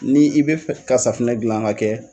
Ni i bɛ fɛ ka safinɛ dilan ka kɛ